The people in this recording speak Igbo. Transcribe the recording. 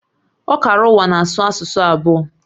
Ọkara ụwa na-asụ asụsụ abụọ